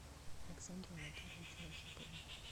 александру анатольевичу архипову